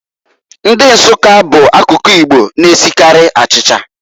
Ndi Nsukka bụ akụkụ Igbo na-esikarị achicha.